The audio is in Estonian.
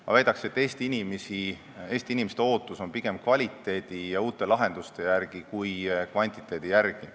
Ma väidan, et Eesti inimesed ootavad pigem kvaliteeti ja uusi lahendusi kui kvantiteeti.